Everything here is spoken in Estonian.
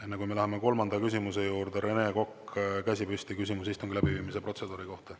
Enne kui me läheme kolmanda küsimuse juurde, Rene Kokk, käsi püsti, küsimus istungi läbiviimise protseduuri kohta.